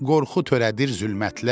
qorxu törədir zülmətlər.